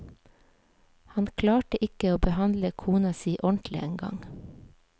Han klarte ikke å behandle kona si ordentlig en gang.